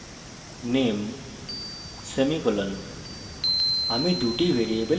string name semicolon